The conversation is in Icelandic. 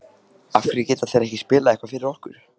af hverju geta þeir ekki spilað eitthvað fyrir okkur?